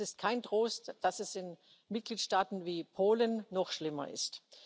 Und es ist kein Trost, dass es in Mitgliedstaaten wie Polen noch schlimmer ist.